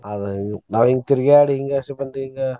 ಅದ ನಾವ್ ಹಿಂಗ್ ತಿರ್ಗ್ಯಾಡಿ ಹಿಂಗಾಸೆ ಬಂದು ಹಿಂಗ.